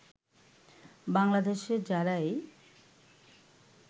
বাংলাদেশে যারাই